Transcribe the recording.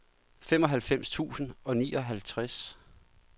femoghalvfems tusind og nioghalvtreds